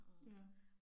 Ja